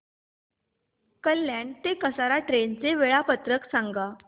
कल्याण ते कसारा ट्रेन चे वेळापत्रक सांगा